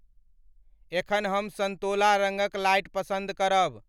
एखन हम संतोला रंगक लाइट पसंद करब